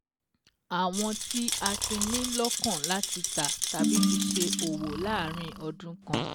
Àwọn tí a ti ní lọ́kàn láti tà tàbí fi ṣe òwò láàrín ọdún kan.